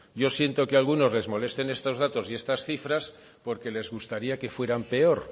yo siento que a algunos les molesten estos datos y estas cifras porque les gustaría que fueran peor